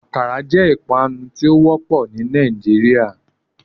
Akara jẹ ipanu ti o wọpọ ni Nigeria.